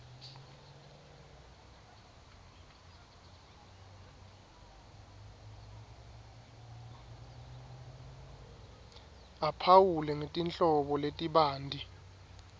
aphawule ngetinhlobo letibanti